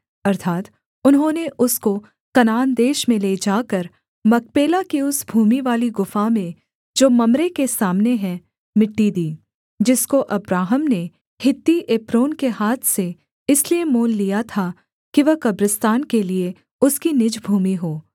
अर्थात् उन्होंने उसको कनान देश में ले जाकर मकपेला की उस भूमिवाली गुफा में जो मम्रे के सामने हैं मिट्टी दी जिसको अब्राहम ने हित्ती एप्रोन के हाथ से इसलिए मोल लिया था कि वह कब्रिस्तान के लिये उसकी निज भूमि हो